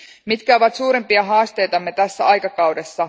Mitkä ovat suurimpia haasteitamme tällä aikakaudella?